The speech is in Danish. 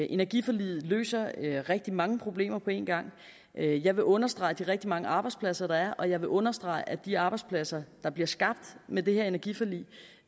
energiforliget løser rigtig mange problemer på en gang jeg vil understrege de rigtig mange arbejdspladser der er og jeg vil understrege at de arbejdspladser der bliver skabt med det her energiforlig